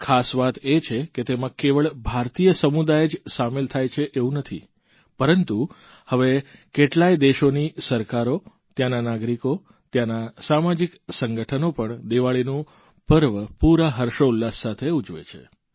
ખાસ વાત એ છે કે તેમાં કેવળ ભારતીય સમુદાય જ સામેલ થાય છે એવું નથી પરંતુ હવે કેટલાય દેશોની સરકારો ત્યાંના નાગરિકો ત્યાંના સામાજિક સંગઠ્ઠનો પણ દીવાળીનું પર્વ પૂરા હર્ષોલ્લાસ સાથે ઉજવે છે